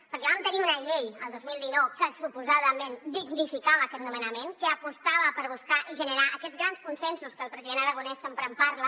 perquè vam tenir una llei el dos mil dinou que suposadament dignificava aquest nomenament que apostava per buscar i generar aquests grans consensos que el president aragonès sempre en parla